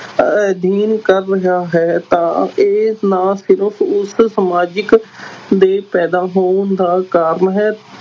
ਅਧਿਐਨ ਕਰ ਰਿਹਾ ਹੈ ਤਾਂ ਇਹ ਨਾ ਸਿਰਫ਼ ਉਸ ਸਮਾਜਿਕ ਦੇ ਪੈਦਾ ਹੋਣ ਦਾ ਕਾਰਨ ਹੈ,